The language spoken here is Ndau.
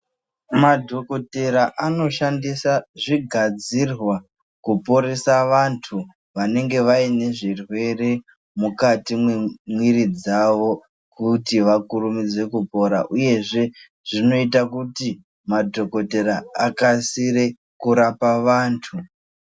Madhokodhera anoshandisa zvigadzirwa kuporesa vantu, vanenge vaine zvirwere mukati mwemwiri dzavo kuti vakurumidze kupora, uyezve zvinoita kuti madhokodhera akasire kurapa vantu.